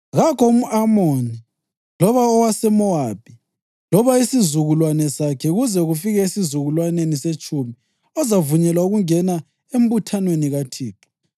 Kakho umʼAmoni loba owaseMowabi loba isizukulwane sakhe kuze kufike esizukulwaneni setshumi ozavunyelwa ukungena embuthanweni kaThixo.